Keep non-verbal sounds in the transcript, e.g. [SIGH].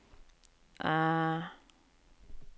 [HESITATION]